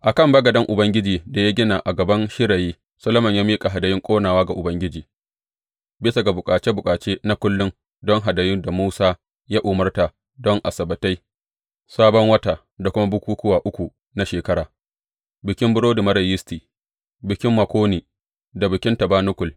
A kan bagaden Ubangiji da ya gina a gaban shirayi, Solomon ya miƙa hadayun ƙonawa ga Ubangiji, bisa ga bukace bukace na kullum don hadayun da Musa ya umarta don Asabbatai, Sabon Wata da kuma bukukkuwa uku na shekara, Bikin Burodi Marar Yisti, Bikin Makoni da Bikin Tabanakul.